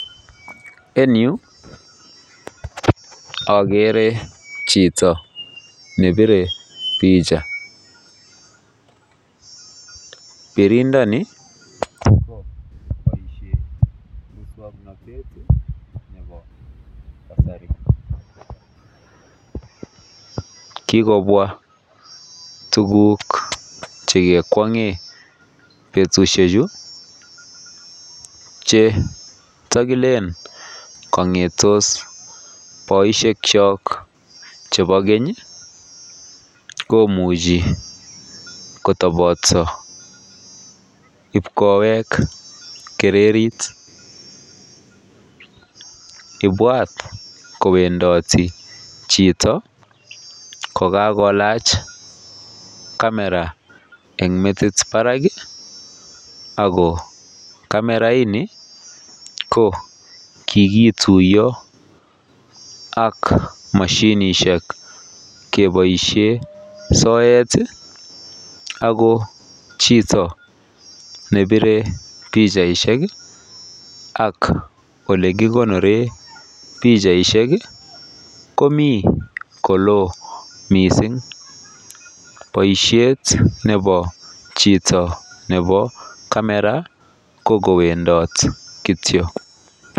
En yu akere jito ne pire pija pirindoni koyoe boishoni en muswoknotetab kasari kikobwa tukuk che kekwongen betushek chuu che ndokile kongetos boishek chok chebo keny kumoji kotopotso kipkoek kirerit ibwat kowendoti jito kokakolach kamera en metik barak ago kamera ini ko kikituyoak moshinishek keboishen soet ago jito ne pire pijaishek ak ole kokonoren bijaishek komi kolo missing boishet nebo jito nebo kamera ko kowendoti kityok.